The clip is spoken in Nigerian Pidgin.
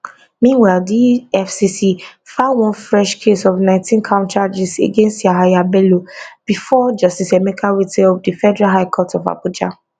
meanwhile di efcc file one fresh case of 19count charges against yahaya bello bifor justice emeka nwite of the federal high court abuja